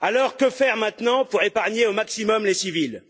Que faire maintenant pour épargner au maximum les civils?